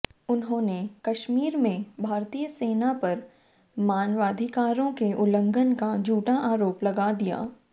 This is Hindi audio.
उन्होंने कश्मीर में भारतीय सेना पर मानवाधिकारों के उल्लंघन का झूठा आरोप लगा दिया